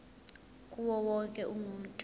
kuwo wonke umuntu